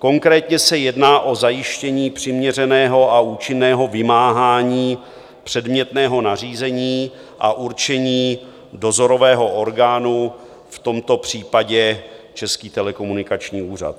Konkrétně se jedná o zajištění přiměřeného a účinného vymáhání předmětného nařízení a určení dozorového orgánu, v tomto případě Český telekomunikační úřad.